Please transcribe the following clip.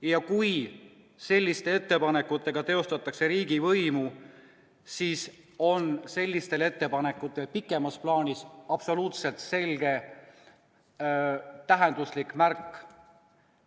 Ja kui selliste ettepanekutega teostatakse riigivõimu, siis on sellistel ettepanekutel pikemas plaanis absoluutselt selge tähenduslik märk.